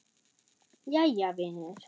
Jæja, vinur.